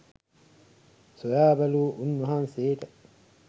සොයා බැලූ උන්වහන්සේට